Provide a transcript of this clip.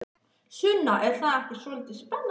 Sunna: Er það ekki svolítið spennandi?